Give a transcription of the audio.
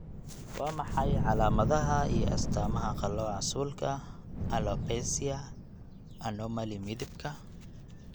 Waa maxay calaamadaha iyo astaamaha qallooca suulka, alopecia, anomaly midabka?